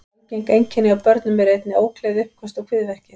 Algeng einkenni hjá börnum eru einnig ógleði, uppköst og kviðverkir.